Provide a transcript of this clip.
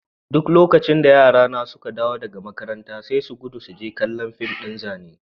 Duk lokacin da yarana suka dawo daga makaranta sai su gudu su je kala fìm din zane.